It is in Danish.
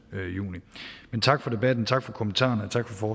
juni men tak for debatten tak for kommentarerne tak for